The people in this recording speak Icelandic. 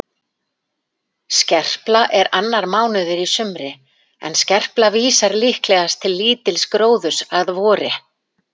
Skerpla er annar mánuður í sumri en skerpla vísar líklegast til lítils gróðurs að vori.